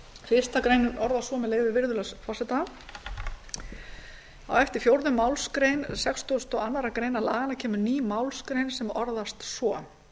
fyrstu greinar orðast svo með leyfi virðulegs forseta á eftir fjórðu málsgrein sextugustu og aðra grein laganna kemur ný málsgrein sem orðast svo